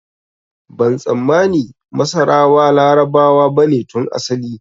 Ban tsammani masarawa Larabawa bane tun asali